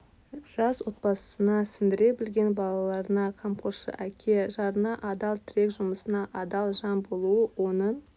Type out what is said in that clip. жас отбасысына сіңдіре білген балаларына қамқоршы әке жарына адал тірек жұмысына адал жан болуы оның